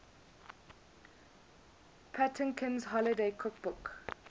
patinkin's holiday cookbook